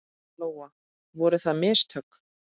Lóa: Voru það mistök?